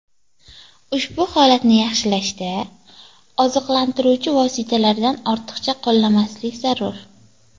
Ushbu holatni yaxshilashda oziqlantiruvchi vositalardan ortiqcha qo‘llamaslik zarur.